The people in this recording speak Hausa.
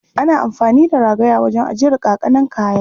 Ana amfani da ragaya wajen ajiyar ƙaƙanan kayan.